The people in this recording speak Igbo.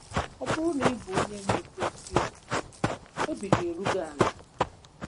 Ọ bụrụ na ị bụ onye na-ekwu eziokwu, obi ga-eru gị ala